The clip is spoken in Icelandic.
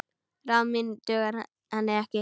Ráð mín duga henni ekki.